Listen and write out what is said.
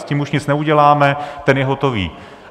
S tím už nic neuděláme, ten je hotový.